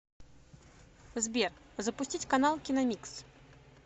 сбер запустить канал киномикс